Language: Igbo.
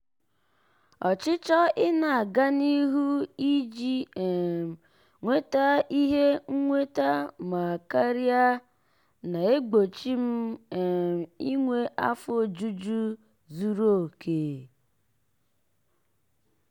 ọchịchọ ị na-aga n'ihu iji um nweta ihe nnweta ma karia na-egbochi m um inwe afọ ojuju zuru oke.